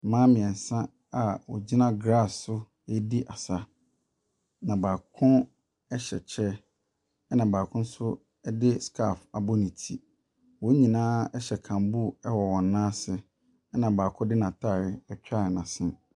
Mmaa mmeɛnsa a wɔgyina grass so redi asa, na baako hyɛ kyɛ, ɛnna baako nso de scalf abɔ ne ti. Wɔn nyinaa hyɛ kamboo wɔ wɔn nan ase, ɛnna baako de n'atade atwa n'asene.